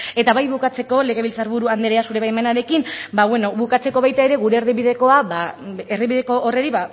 eta bai bukatzeko legebiltzar buru andrea zure baimenarekin ba bueno bukatzeko baita ere erdibideko horri